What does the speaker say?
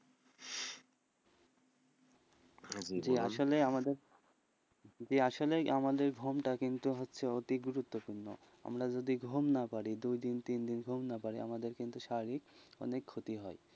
জি আসলে আমাদের আসলেই আমাদের ঘুমটা হচ্ছে অতি গুরুত্বপূর্ণ, আমরা যদি ঘুম না পারি, দুই দিন, তিন দিন ঘুম না পারি আমাদের কিন্তু শারীরিক অনেক ক্ষতি হয়,